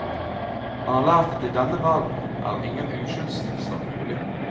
Han har lært at i denne verden er ingen uskyldstilstand mulig.